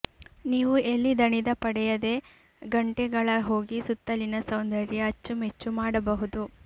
ನೀವು ಎಲ್ಲಿ ದಣಿದ ಪಡೆಯದೆ ಗಂಟೆಗಳ ಹೋಗಿ ಸುತ್ತಲಿನ ಸೌಂದರ್ಯ ಅಚ್ಚುಮೆಚ್ಚು ಮಾಡಬಹುದು